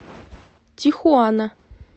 тихуана